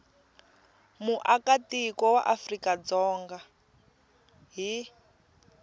muakatiko wa afrika dzonga hi